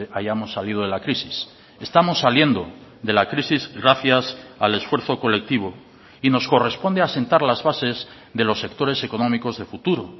hayamos salido de la crisis estamos saliendo de la crisis gracias al esfuerzo colectivo y nos corresponde asentar las bases de los sectores económicos de futuro